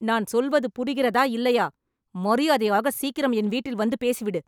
நான் சொல்வது புரிகிறதா இல்லையா.. மரியாதையாக சீக்கிரம் என் வீட்டில் வந்து பேசிவிடு